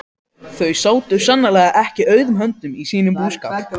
Þau sátu sannarlega ekki auðum höndum í sínum búskap.